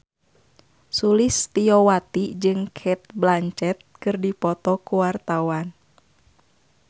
Sulistyowati jeung Cate Blanchett keur dipoto ku wartawan